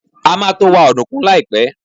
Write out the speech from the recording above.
A máa to wa ọ̀dùnkún láìpẹ́.